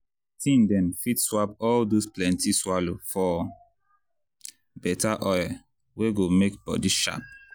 teen dem fit swap all dose plenty swallow for better oil wey go make body sharp.